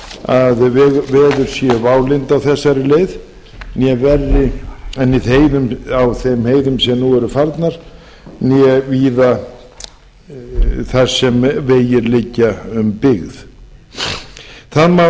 að veður séu válynd á þessari leið né verri en á þeim heiðum sem nú eru farnar né víða þar sem vegir liggja um byggð það